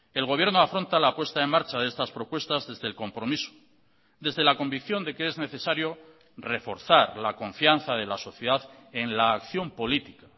el gobierno afronta la puesta en marcha de estas propuestas desde el compromiso desde la convicción de que es necesario reforzar la confianza de la sociedad en la acción política